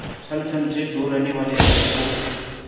छल छंद से दूर रहने वाले रईस को